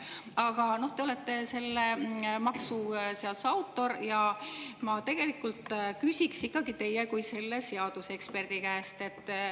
Aga te olete selle maksuseaduse autor ja ma küsin ikkagi teie kui selle seaduse eksperdi käest.